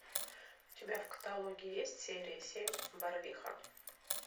у тебя в каталоге есть серия семь барвиха